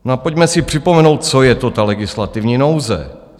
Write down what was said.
No a pojďme si připomenout, co je to ta legislativní nouze.